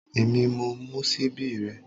Èmi mo mú ṣíbí rẹ